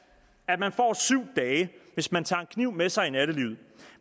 at man får syv dage hvis man tager en kniv med sig i nattelivet